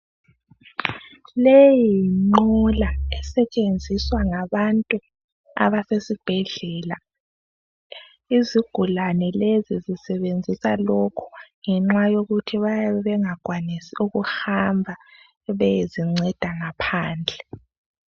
Leyi yinqola esetshenziswa ngabantu abasesibhedlela izigulane lezi zisebenzisa lokhu ngenxa yokuthi bayabe bengakwanisi ukuhamba beyezinceda ngaphandle.